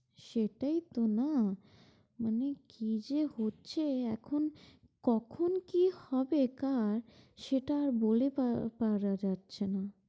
সেটাইতো না। মানে কি যে হচ্ছে এখন কখন কি হবে কার সেটা আর বলে পারা যাচ্ছে না।